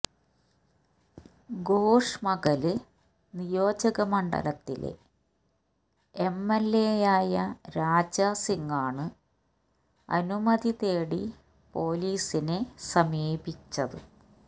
ഗോഷ്മഹല് നിയോജകമണ്ഡലത്തിലെ എംഎല്എയായ രാജാ സിങ്ങാണ് അനുമതി തേടി പോലീസിനെ സമീപിച്ചത്